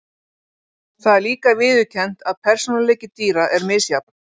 Það er líka viðurkennt að persónuleiki dýra er misjafn.